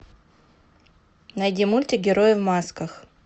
найди мультик герои в масках